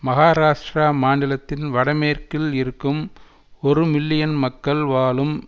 மகாராஷ்ட்டிர மாநிலத்தின் வடமேற்கில் இருக்கும் ஒரு மில்லியன் மக்கள் வாழும்